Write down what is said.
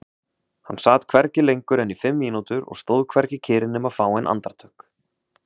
Hann sat hvergi lengur en í fimm mínútur og stóð hvergi kyrr nema fáein andartök.